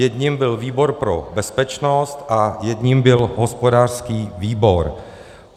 Jedním byl výbor pro bezpečnost a jedním byl hospodářský výbor.